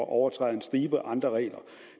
overtræder en stribe andre regler